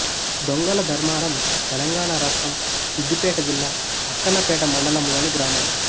దొంగల ధర్మారం తెలంగాణ రాష్ట్రం సిద్ధిపేట జిల్లా అక్కన్నపేట మండలంలోని గ్రామం